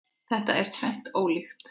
Þetta er tvennt ólíkt.